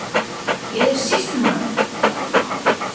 Ég er sýslumaður, svaraði Svanur.